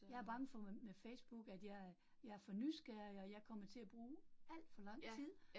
Jeg bange for med Facebook, at jeg jeg for nysgerrig, og jeg kommer til at bruge alt for lang tid